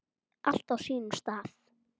Allt á sínum stað.